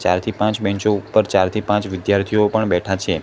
ચાર થી પાંચ બેન્ચો ઉપર ચાર થી પાંચ વિદ્યાર્થીઓ પણ બેઠા છે.